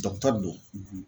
don